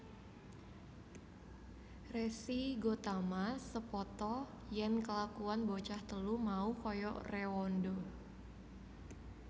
Resi Gotama sepata yèn kelakuwan bocah telu mau kaya réwanda